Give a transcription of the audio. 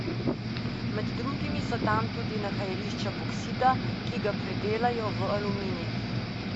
Med drugimi so tam tudi nahajališča boksita, ki ga predelajo v aluminij.